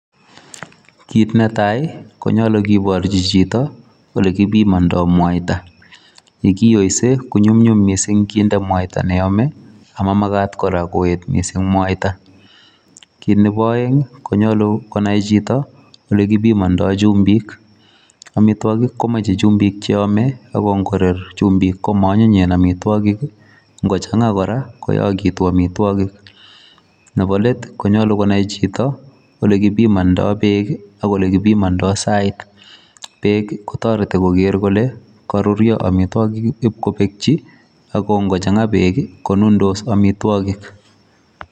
Kit netai konyolu kiborji chito ole kibimondo mwaita, ye kiyose konyumnyum mising kinde mwaita neyome ama magat kora koet mwaita. Kitnebo oeng konyolu konai chito olekibimondo chumbik, amitwogik komoche chumbik che yome ago ngoror chumbik komoonyiny amitwogik. Ngochang'a kora koyogitu amitwogik. Nebo let konyolu konai chito ole kibimondo beek ak ole kibimondo sait. Beek kotoreti koger kole koruryo amitwogik ibko bekchi ago ngochang'a beek konundos amitwogik.